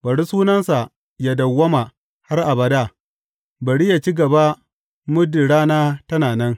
Bari sunansa yă dawwama har abada; bari yă ci gaba muddin rana tana nan.